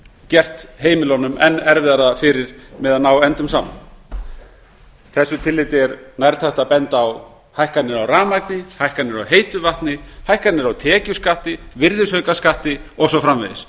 gert heimilunum enn erfiðara fyrir með að ná endum saman í því tilliti er nærtækt að benda á hækkanir á rafmagni hækkanir á heitu vatni hækkanir á tekjuskatti virðisaukaskatti eldsneyti og svo framvegis